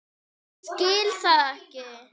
Skil það ekki.